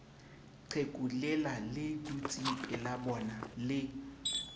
qheku lela le dutsengpelabona le